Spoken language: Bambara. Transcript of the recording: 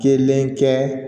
Kelen kɛ